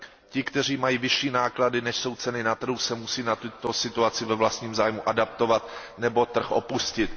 Ti, kteří mají vyšší náklady, než jsou ceny na trhu, se musí na tuto situaci ve vlastním zájmu adaptovat nebo trh opustit.